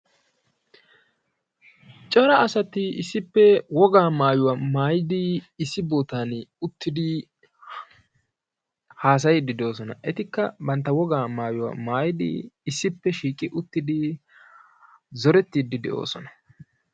Cora asati issipe wogaa maayuwaa maayidi issi bootan uttidi haasayidi de'oosona. Etikka bantta wogaa maayuwaa maayidi issippe shiqi uttidi zorettidi de'oosona.